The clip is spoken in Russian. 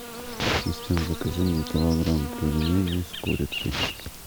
ассистент закажи мне килограмм пельменей с курицей